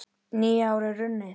Nýár er runnið!